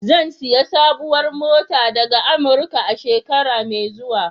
Zan sayi sabuwar mota daga Amurika, shekara mai zuwa.